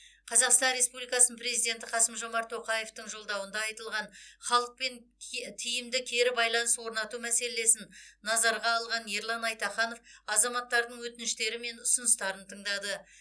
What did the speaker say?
қазақстан республикасының президенті қасым жомарт тоқаевтың жолдауында айтылған халықпен кетиімді кері байланыс орнату мәселесін назарға алған ерлан айтаханов азаматтардың өтініштері мен ұсыныстарын тыңдады